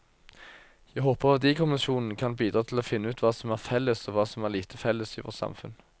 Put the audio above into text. Jeg håper verdikommisjonen kan bidra til å finne ut hva som er felles og hva som er lite felles i vårt samfunn.